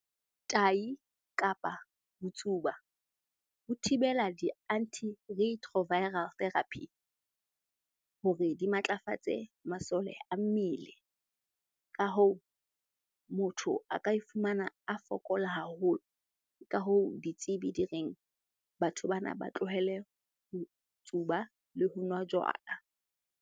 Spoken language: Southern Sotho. Tahi kapa ho tsuba ho thibela di-anti retroviral therapy hore di matlafatse masole a mmele. Ka hoo, motho a ka e fumana a fokola haholo. Ka hoo, ditsebi di reng batho bana ba tlohele ho tsuba le ho nwa jwala.